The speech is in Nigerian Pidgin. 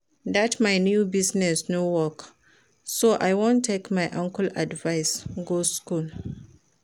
Dat my new business no work so I wan take my uncle advice go school